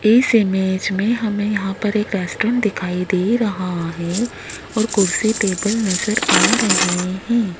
इस इमेज में हमें यहां पर एक रेस्टोरेंट दिखाई दे रहा है और कुर्सी टेबल नजर आ रहे हैं।